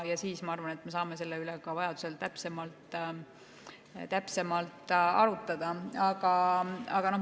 Siis, ma arvan, me saame selle üle vajadusel täpsemalt arutada.